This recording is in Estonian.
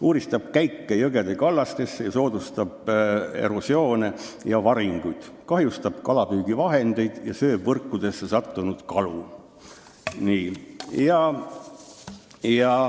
Uuristab käike jõgede kallastesse, soodustab erosiooni ja varinguid, kahjustab kalapüügivahendeid ning sööb võrkudesse sattunud kalu.